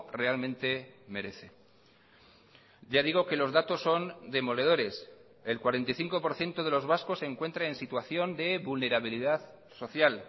realmente merece ya digo que los datos son demoledores el cuarenta y cinco por ciento de los vascos se encuentra en situación de vulnerabilidad social